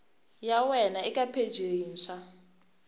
ya wena eka pheji yintshwa